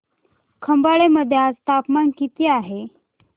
खंबाळे मध्ये आज तापमान किती आहे